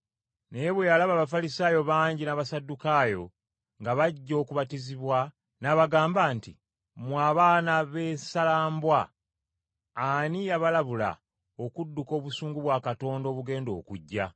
Naye bwe yalaba Abafalisaayo bangi n’Abasaddukaayo nga bajja okubatizibwa n’abagamba nti, “Mmwe, abaana b’essalambwa, ani yabalabula okudduka obusungu bwa Katonda obugenda okujja?